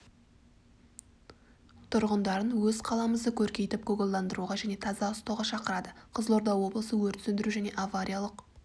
тұрғындарын өз қаламызды көркейтіп көгалдандыруға және таза ұстауға шақырады қызылорда облысы өрт сөндіру және авариялық